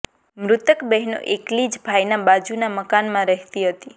મૃતક બહેનો એકલી જ ભાઈના બાજુના મકાનમાં રહેતી હતી